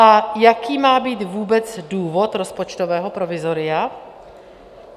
A jaký má být vůbec důvod rozpočtového provizoria?